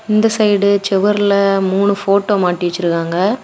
இந்த சைடு சுவர்ல மூணு போட்டோ மாட்டி வச்சிருக்காங்க.